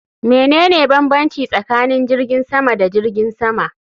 Menene bambanci tsakanin jirgin sama da jirgin sama?